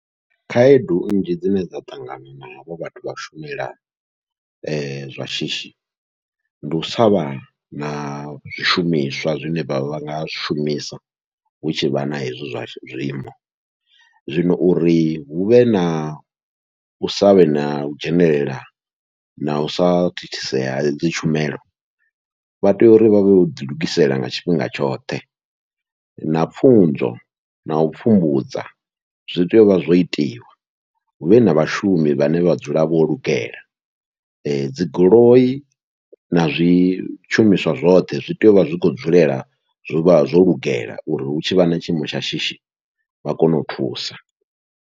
Khaedu nnzhi dzine dza ṱangana na havho vhathu vha shumela zwashishi, ndi u savha na zwishumiswa zwine vha nga zwishumisa hu tshivha na hezwi zwa zwiimo, zwino uri huvhe nau savhe nau dzhenelela nau sa thithisea hedzi tshumelo, vha tea uri vhavhe vho ḓilugisela nga tshifhinga tshoṱhe na pfhunzo nau pfhumbudza zwi tea uvha zwo itiwa huvhe na vhashumi vhane vha dzula vho lugela. Dzi goloi na zwi shumiswa zwoṱhe zwi tea uvha zwi khou dzulela zwo vha zwolugela uri hu tshivha na tshiimo tsha shishi vha kone u thusa.